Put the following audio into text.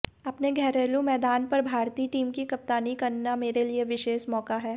अपने घरेलू मैदान पर भारतीय टीम की कप्तानी करना मेरे लिये विशेष मौका है